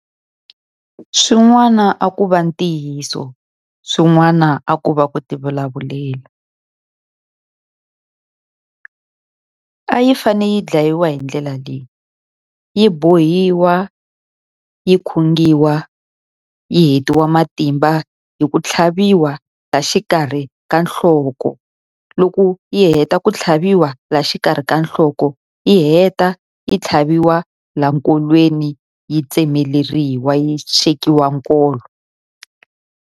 Swin'wana a ku va ntiyiso, swin'wana a ku va ku tivulavulela. A yi fane yi dlayiwa hi ndlela leyi. Yi bohiwa, yi khungiwa, yi hetiwa matimba hi ku tlhaviwa la xikarhi ka nhloko. Loko yi heta ku tlhaviwa la xikarhi ka nhloko, yi heta yi tlhaviwa la nkolweni yi tsemeleriwa, yi xekiwa nkolo.